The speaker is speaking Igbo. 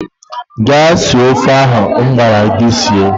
Gaa sie ofe ahụ m gwara gị sie!